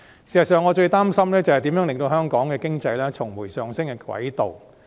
事實上，我最擔心的是如何令香港的經濟重回上升的軌道。